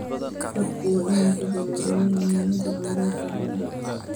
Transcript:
Dadku waa inay ku baraarugaan muhiimadda kheyraadka badda.